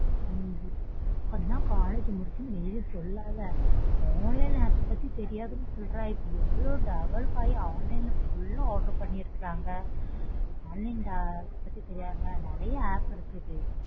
உம் இப்பந்தான் காலேஜ் முடிட்சேன்னு வெளிய சொல்லாத online app அ பத்தி தெரியாதுன்னு சொல்ற இப்போ எவ்ளோ develop ஆயி online ல full ஆ order பண்ணிருகாங்க. Online order பத்தி தெரியாதுங்கற நறைய app இருக்குது.